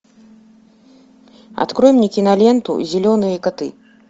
открой мне киноленту зеленые коты